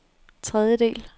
tredjedel